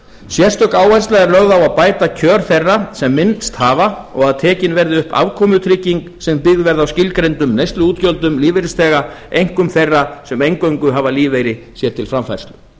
sérstök áhersla er lögð á að bæta kjör þeirra sem minnst hafa og að tekin verði upp afkomutrygging sem byggð verði á skilgreindum neysluútgjöldum lífeyrisþega einkum þeirra sem eingöngu hafa lífeyri sér til framfærslu